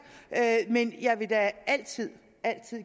men jeg vil da altid